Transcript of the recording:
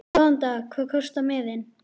Góðan dag. Hvað kostar miðinn?